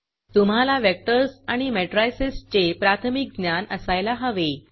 तुम्हाला वेक्टर्स आणि मॅट्रायसेसचे प्राथमिक ज्ञान असायला हवे